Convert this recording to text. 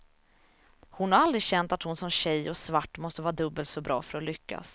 Hon har aldrig känt att hon som tjej och svart måste vara dubbelt så bra för att lyckas.